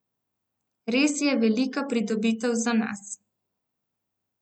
Res je velika pridobitev za nas.